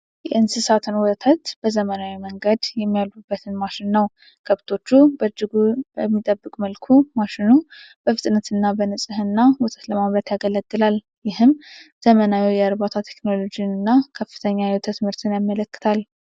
የእንስሳትን ወተት በዘመናዊ መንገድ የሚያለቡበትን ማሽን ነው። ከብቶቹን በእጅጉ በሚጠብቅ መልኩ፣ ማሽኑ በፍጥነትና በንፅህና ወተት ለማምረት ያገለግላል። ይህም ዘመናዊ የእርባታ ቴክኖሎጂንና ከፍተኛ የወተት ምርትን ያመለክታል።